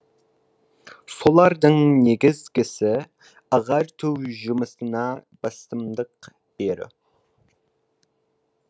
солардың негізгісі ағарту жұмысына басымдық беру